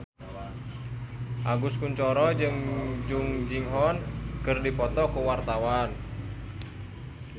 Agus Kuncoro jeung Jung Ji Hoon keur dipoto ku wartawan